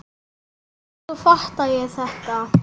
En svo fattaði ég þetta!